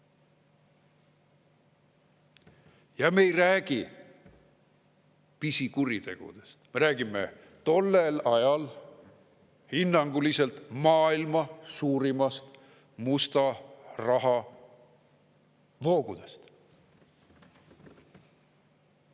Ja me ei räägi pisikuritegudest, me räägime tollel ajal hinnanguliselt maailma suurimast musta raha voogudest.